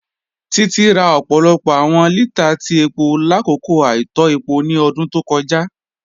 Títí rà ọpọlọpọ awọn lítàà tí epo lákọkọ àìtọ̀ epo ni ọ̀dún tó kọja.